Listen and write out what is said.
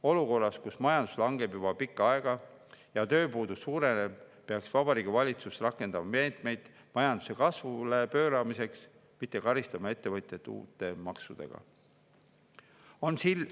Olukorras, kus majandus langeb juba pikka aega ja tööpuudus suureneb, peaks Vabariigi Valitsus rakendama meetmeid majanduse kasvule pööramiseks, mitte karistama ettevõtjaid uute maksudega.